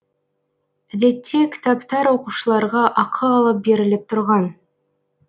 әдетте кітаптар оқушыларға ақы алып беріліп тұрған